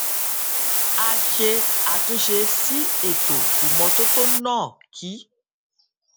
a ṣe àtúnṣe sí ètò ìmótótó náà kí